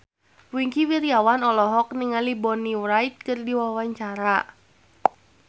Wingky Wiryawan olohok ningali Bonnie Wright keur diwawancara